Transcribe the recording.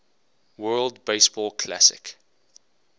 world baseball classic